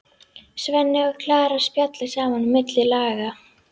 Svenni og Klara spjalla saman á milli laga.